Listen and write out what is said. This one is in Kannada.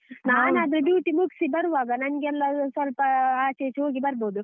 duty ಮುಗ್ಸಿಬರುವಾಗ ನಂಗೆಲ್ಲ ಸ್ವಲ್ಪ ಆ~ ಆಚೆ ಈಚೆ ಹೋಗಿ ಬರ್ಬೋದು.